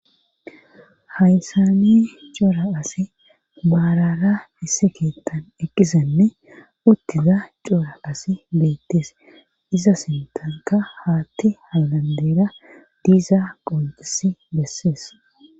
hayssani cora asi baarara issi keettan eqqisenne uttiza cora asi beettees iza sintanka haatti halandeera diiza qoncisi bessees